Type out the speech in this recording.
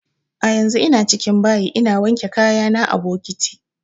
A yanzun ina cikin bayi ina wanke kaya na a bokiti